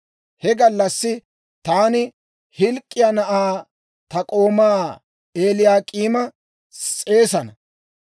«He gallassi taani Hilk'k'iyaa na'aa ta k'oomaa Eliyaak'iima s'eesana.